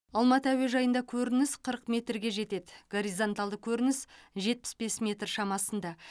алматы әуежайында көрініс қырық метрге жетеді горизонталды көрніс жетпіс бес метр шамасында